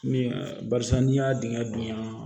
Min barisa n'i y'a dingɛ bonyan